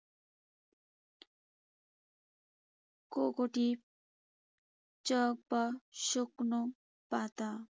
Cocopeat চক বা শুকনো পাতা।